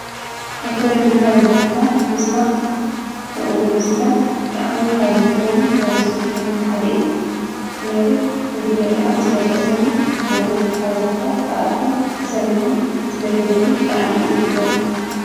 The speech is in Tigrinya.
ኣባላት ብልፅግና ፖርቲ ክመያየጡ ዘርኢ እዩ።